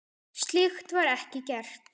Slíkt var ekki gert.